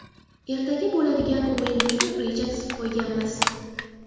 Ertaga bo‘ladigan o‘yin uchun reja tuzib qo‘yganmiz.